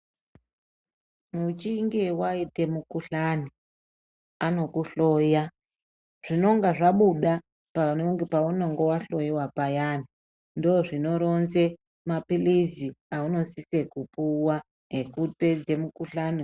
Muchinge waita mukuhlani, anokuhloya, zvinenge zvabuda paunenge wahloyiwa payani, ndizvo zvinoronze mapirizi aunosise kupuwa ekupedze mukhuhlani.